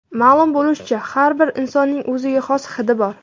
Ma’lum bo‘lishicha, har bir insonning o‘ziga xos hidi bor.